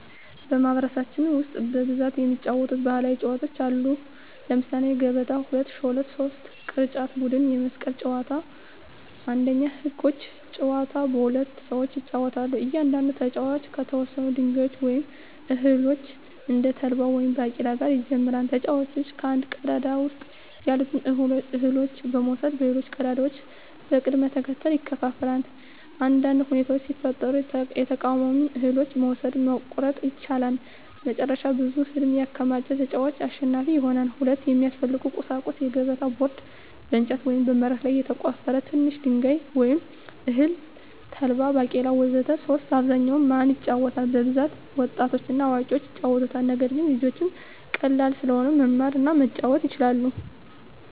በማኅበረሰባችን ውስጥ በብዛት የሚጫወቱ ባሕላዊ ጨዋታዎች አሉ። ለምሳሌ 1, ገበታ 2, ሾለት 3, ቅርጫት ቡድን የመስቀል ጨዋታ 1. ህጎች : ጨዋታው በሁለት ሰዎች ይጫወታል። እያንዳንዱ ተጫዋች ከተወሰኑ ድንጋዮች ወይም እህሎች (እንደ ተልባ ወይም ባቄላ) ጋር ይጀምራል። ተጫዋቹ ከአንድ ቀዳዳ ውስጥ ያሉትን እህሎች በመውሰድ በሌሎች ቀዳዳዎች በቅደም ተከተል ያከፋፍላል። አንዳንድ ሁኔታዎች ሲፈጠሩ የተቃዋሚውን እህሎች መውሰድ (መቆረጥ) ይቻላል። መጨረሻ ብዙ እህል ያከማቸ ተጫዋች አሸናፊ ይሆናል። 2. የሚያስፈልጉ ቁሳቁሶች: የገበታ ቦርድ (በእንጨት ወይም በመሬት ላይ የተቆፈረ) ትንሽ ድንጋይ ወይም እህል (ተልባ፣ ባቄላ ወዘተ) 3. በአብዛኛው ማን ይጫወታል? በብዛት ወጣቶችና አዋቂዎች ይጫወቱታል። ነገር ግን ልጆችም ቀላል ስለሆነ መማር እና መጫወት ይችላሉ።